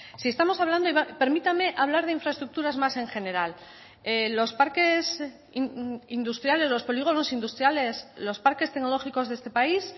si estamos hablando permítame hablar de infraestructuras más en general los parques industriales los polígonos industriales los parques tecnológicos de este país